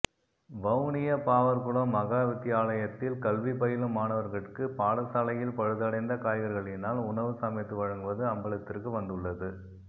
வவுனியா பாவற்குளம் மகாவித்தியாலயத்தில் கல்வி பயிலும் மாணவர்கட்கு பாடசாலையில் பழுதடைந்த காய்கறிகளினால் உணவு சமைத்து வழங்குவது அம்பலத்திற்கு வந்துள்ளது